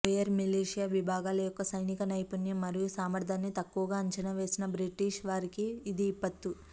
Boyer militia విభాగాల యొక్క సైనిక నైపుణ్యం మరియు సామర్థ్యాన్ని తక్కువగా అంచనా వేసిన బ్రిటిష్ వారికి ఇది విపత్తు